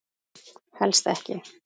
Helst ekki.